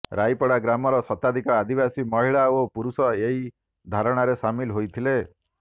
ରାଇପଡା ଗ୍ରାମର ଶତାଧିକ ଆଦିବାସି ମହିଳା ଓ ପୁରୁଷ ଏହି ଧାରଣା ରେ ସାମିଲ୍ ହୋଇଥିଲେ